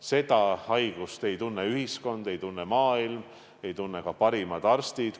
Seda haigust ei tunne ühiskond, ei tunne maailm, ei tunne ka parimad arstid.